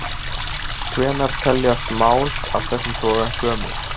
Hvenær teljast mál af þessum toga gömul?